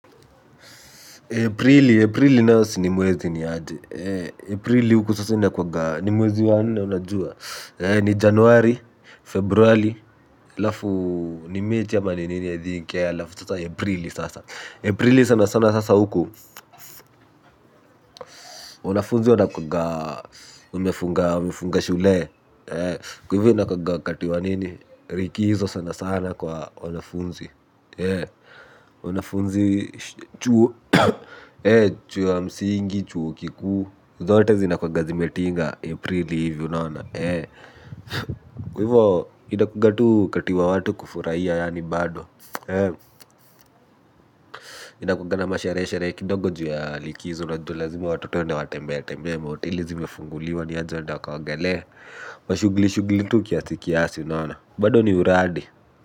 Aprili, Aprili nayo si ni mwezi niaje. Aprili huku sasa inakuwagaa. Ni mwezi wa nne unajua. Ni Januari, Februari, halafu ni mechi ama ni nini i think halafu sasa Aprili sasa. Aprili sana sana sasa huku. Wanafunzi wanakuaga wamefunga shule. Kwa hivyo inakuaga wakati wa nini, likizo sana sana kwa wanafunzi. Wanafunzi, chuo ya msingi, chuo kikuu zote zinakuwanga zimetinga Aprili hivi unaona. Kwa hivyo inakuaga tu wakati wa watu kufurahia yaani bado. Inakuaga na masherehe sherehe kidogo juu ya likizo. Unajua lazima watoto waenda watembee tembee mahoteli zimefunguliwa ni aje waenda wakaogolee mashughuli shughuli tu kiasi kiasi unaona bado ni uradi.